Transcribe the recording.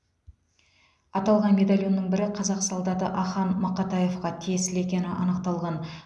аталған медальонның бірі қазақ солдаты ахан мақатаевқа тиесілі екені анықталған